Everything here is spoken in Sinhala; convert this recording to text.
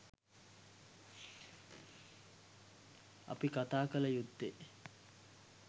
අපි කතාකල යුත්තේ